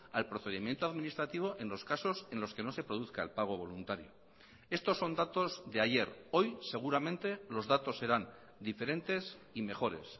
al procedimiento administrativo en los casos en los que no se produzca el pago voluntario estos son datos de ayer hoy seguramente los datos serán diferentes y mejores